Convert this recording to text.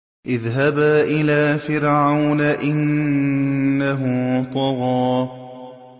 اذْهَبَا إِلَىٰ فِرْعَوْنَ إِنَّهُ طَغَىٰ